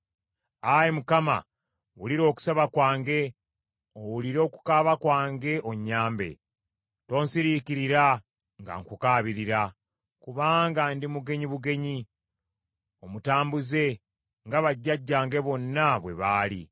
Ayi Mukama , wulira okusaba kwange, owulire okukaaba kwange onnyambe. Tonsiriikirira nga nkukaabirira. Kubanga ndi mugenyi bugenyi, omutambuze, nga bajjajjange bonna bwe baali.